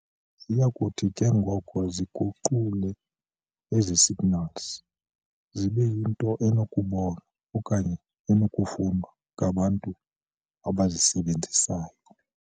Ziyakuthi ke ngoko ziguqule ezi signals zibe yinto enokubonwa okanye enokufundwa ngabantu abazisebenzisayo.